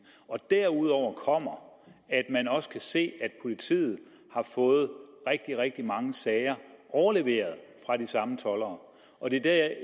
derudover kommer at man også kan se at politiet har fået rigtig rigtig mange sager overleveret fra de samme toldere og det er